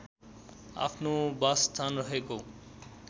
आफ्नो बासस्थान रहेको